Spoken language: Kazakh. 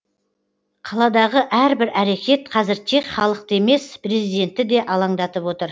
қаладағы әрбір әрекет қазір тек халықты емес президентті де алаңдатып отыр